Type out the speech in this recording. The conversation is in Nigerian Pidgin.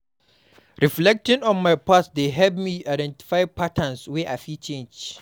Reflecting on my past dey help me identify patterns wey I fit change.